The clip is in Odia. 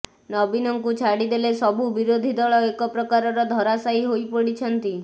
ନବୀନଙ୍କୁ ଛାଡି ଦେଲେ ସବୁ ବିରୋଧୀ ଦଳ ଏକ ପ୍ରକାରର ଧରାଶାୟୀ ହୋଇପଡିଛନ୍ତି